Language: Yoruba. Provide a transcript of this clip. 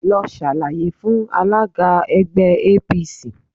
Lọ ṣàlàyé fún alága ẹgbẹ́ APC